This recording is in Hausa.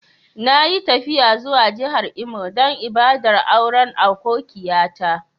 Na yi tafiya zuwa jihar Imo dan ibada'n auren akokiya ta.